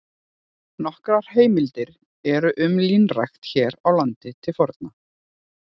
Nokkrar heimildir eru um línrækt hér á landi til forna.